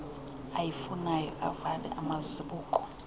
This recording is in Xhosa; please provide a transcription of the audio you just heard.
ayifunayo avale amazibuko